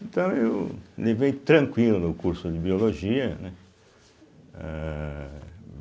Então eu levei tranquilo no curso de Biologia, né eh.